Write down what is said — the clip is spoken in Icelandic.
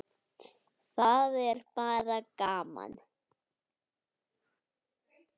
Það er bara gaman